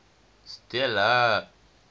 stella